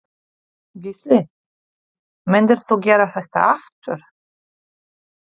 Gísli: Myndir þú gera þetta aftur?